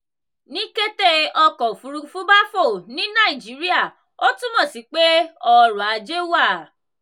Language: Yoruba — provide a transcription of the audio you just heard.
ní kété ọkọ̀ òfúrufú bá fò ní nàìjíría ó túmọ̀ sí pé ọrọ̀-ajé wà.